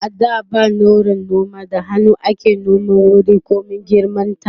a da ba nauran noma da hannu ake nome wuri komin girman ta